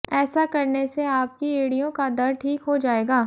ऐसा करने से आपकी एड़ियों का दर्द ठीक हो जाएगा